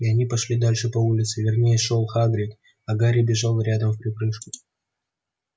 и они пошли дальше по улице вернее шёл хагрид а гарри бежал рядом вприпрыжку